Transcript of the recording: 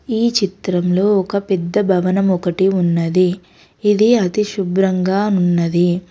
ఈ చిత్రంలో ఒక పెద్ద భవనం ఒకటి ఉన్నది ఇది అతి శుభ్రంగా ఉన్నది.